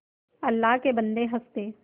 अल्लाह के बन्दे हंस दे